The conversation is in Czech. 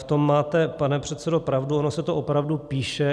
V tom máte, pane předsedo, pravdu, ono se to opravdu píše.